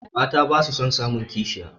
Mata basu son samun kishiya